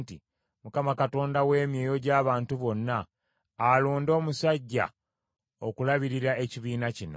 “ Mukama Katonda w’emyoyo gy’abantu bonna, alonde omusajja okulabirira ekibiina kino,